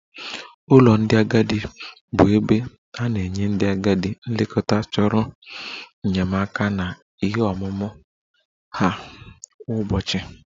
Ụlọ ndị agadi bụ ebe a na-enye ndị agadi nlekọta chọrọ enyemaka na ihe omume ha kwa ụbọchị